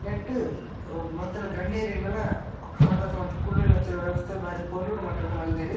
ನೆಟ್ಟ್ ಬತ್ತಿನ ಗಣ್ಯರೆನ್ಲ ಸ್ವಾಗತ ಮಂತ್ ಕುಲ್ಲುನಂಚಿನ ವ್ಯವಸ್ಥೆ ಬಾರಿ ಪೊರ್ಲುಡ್ ಮಟ್ಟಡ್ ಮಲ್ದೆರ್.